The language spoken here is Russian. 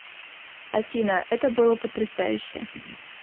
афина это было потрясающе